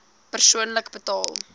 persoonlik betaal